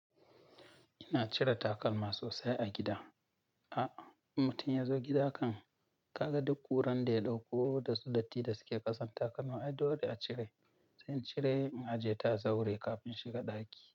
Ina cire takalma sosai a gida. A in mutum yazo gida kan kaga duk kuranda ya ɗauko dasu datti da suke ƙasan takalma ai dole a cire. Zan cire in ajeta a zaure kafin shiga ɗaki.